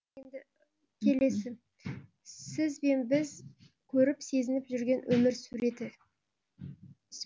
сіз бен бізкөріп сезініп жүрген өмір суреті